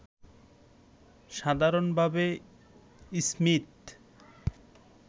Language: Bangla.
সাধারণভাবে স্মীথ